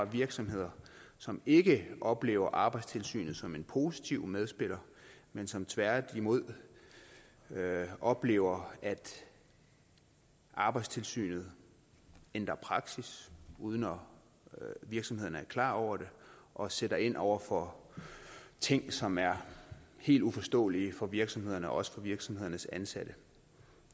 virksomheder som ikke oplever arbejdstilsynet som en positiv medspiller men som tværtimod oplever at arbejdstilsynet ændrer praksis uden at virksomhederne er klar over det og sætter ind over for ting som er helt uforståelige for virksomhederne og også for virksomhedernes ansatte